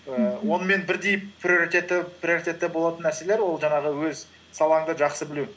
ііі мхм онымен бірдей приоритетті болатын нәрселер ол жаңағы өз салаңды жақсы білу